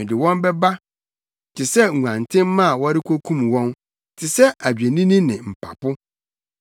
“Mede wɔn bɛba te sɛ nguantenmma a wɔrekokum wɔn, te sɛ adwennini ne mpapo.